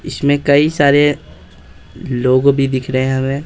इसमें कई सारे लोगो भी दिख रहे हैं हमें।